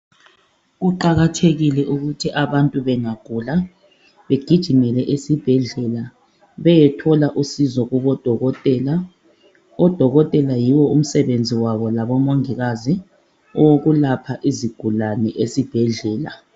Kuqakathekile ukuthi abantu bengagula begijimele esibhedlela beyethola usizo kubodokotela. Odokotela yiwo umsebenzi wabo labomongikazi owokulapha izigulane esibhedlela.